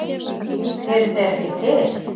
Eru þeir ekki til?